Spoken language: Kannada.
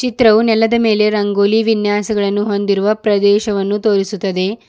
ಚಿತ್ರವು ನೆಲದ ಮೇಲೆ ರಂಗೋಲಿ ವಿನ್ಯಾಸಗಳನ್ನು ಹೊಂದಿರುವ ಪ್ರದೇಶವನ್ನು ತೋರಿಸುತ್ತದೆ.